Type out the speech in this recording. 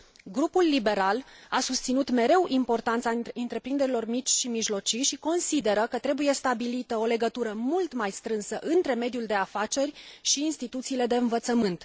Grupul liberal a susținut mereu importanța întreprinderilor mici și mijlocii și consideră că trebuie stabilită o legătură mult mai strânsă între mediul de afaceri și instituțiile de învățământ.